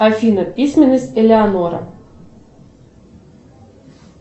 афина письменность элеонора